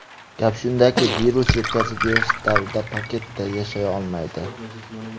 Gap shundaki, virus yetkazib berish davrida paketda yashay olmaydi.